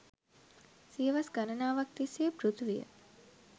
සියවස් ගණනාවක් තිස්සේ පෘථිවිය